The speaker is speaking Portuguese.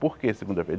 Por quê segunda-feira?